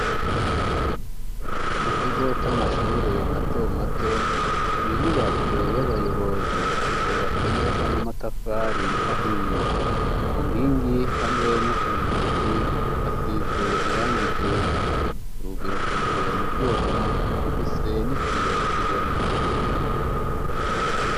Mu kigo c'amashure matomato ni inyubako y'abayobozi yubatse neza n'amatafari ahiye ku nkingi hamwe no ku nzugi hasize iranga irera urugi rukozwe mu vyuma rufise n'iki yokibona.